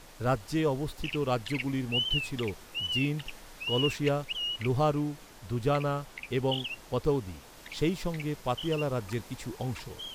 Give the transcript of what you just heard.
রাজ্যে অবস্থিত রাজ্যগুলির মধ্যে ছিল জিন্দ, কলসিয়া, লোহারু, দুজানা এবং পতৌদি, সেই সঙ্গে পাতিয়ালা রাজ্যের কিছু অংশ।